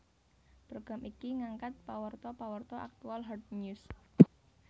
Program iki ngangkat pawarta pawarta aktual hard news